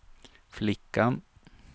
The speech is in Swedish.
flickan